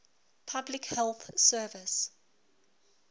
public health service